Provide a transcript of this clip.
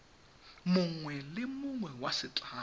mongwe le mongwe wa setlamo